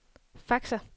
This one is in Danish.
faxer